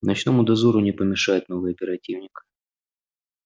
ночному дозору не помешает новый оперативник